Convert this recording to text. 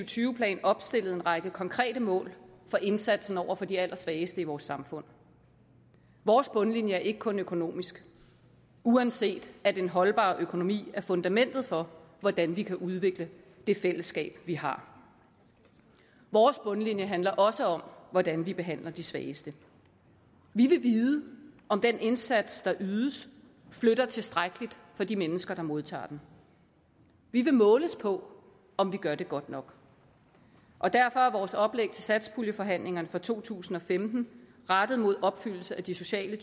tyve plan opstillet en række konkrete mål for indsatsen over for de allersvageste i vores samfund vores bundlinje er ikke kun økonomisk uanset at en holdbar økonomi er fundamentet for hvordan vi kan udvikle det fællesskab vi har vores bundlinje handler også om hvordan vi behandler de svageste vi vil vide om den indsats der ydes flytter tilstrækkeligt for de mennesker der modtager den vi vil måles på om vi gør det godt nok og derfor er vores oplæg til satspuljeforhandlingerne for to tusind og femten rettet mod opfyldelsen af de sociale